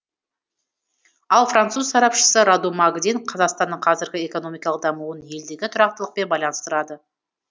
ал француз сарапшысы раду магдин қазақстанның қазіргі экономикалық дамуын елдегі тұрақтылықпен байланыстырады